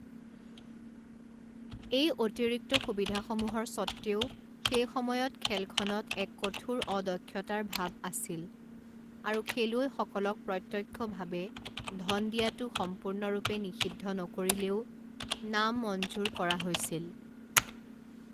এই অতিৰিক্ত সুবিধাসমূহৰ স্বত্ত্বেও সেই সময়ত খেলখনত এক কঠোৰ অদক্ষতাৰ ভাৱ আছিল আৰু খেলুৱৈসকলক প্ৰত্যক্ষভাৱে ধন দিয়াটো সম্পূৰ্ণৰূপে নিষিদ্ধ নকৰিলেও নামঞ্জুৰ কৰা হৈছিল।